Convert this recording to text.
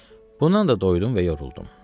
Bundan da doydum və yoruldum.